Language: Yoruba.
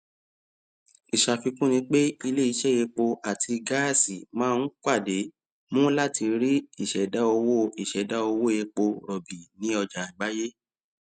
ìṣàfikún ní pé iléiṣẹ epo àti gáàsì máa ń pàde mú lati rí ìṣèdá owó ìṣèdá owó epo rọbì ní ọjà àgbáyé